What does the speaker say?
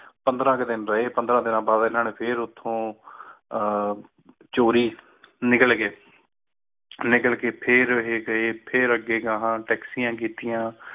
ਪੰਦਰਾਂ ਇਕ ਦਿਨ ਰਹੇ ਉਥੇ ਫਿਰ ਪੰਦਰਾਂ ਦੀਨਾ ਬਾਦ ਉਠੁ ਚੋਰੀ ਨਿਕਲ ਗਏ ਨਿਕਲ ਗਏ ਫਿਰ ਨਿਕਲ ਕ ਕਹਾ ਕੀੜੇ ਤਾਜ਼ੀਆਂ ਕਿੱਤਿਆਂ